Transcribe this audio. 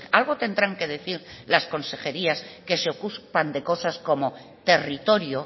algo tendrán que decir las consejerías que se ocupan de cosas como territorio